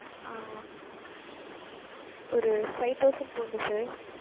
ஆஹ் ஒரு five thousand போடணும் sir